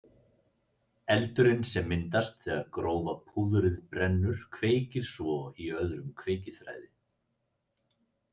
Eldurinn sem myndast þegar grófa púðrið brennur kveikir svo í öðrum kveikiþræði.